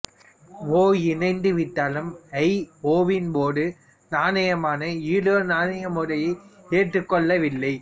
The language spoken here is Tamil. ஒ இணைந்து விட்டாலும் ஐ ஒவின் பொது நாணயமான யூரோ நாணய முறையை ஏற்றுக் கொள்ள வில்லை